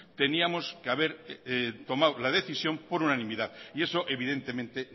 teníamos que haber tomado la decisión por unanimidad y eso evidentemente